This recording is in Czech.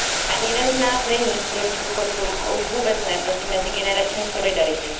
Ani jeden z nás není proti důchodcům a už vůbec ne proti mezigenerační solidaritě.